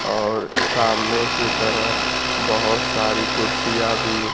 और सामने की तरफ बहोत सारी कुर्सियां भी--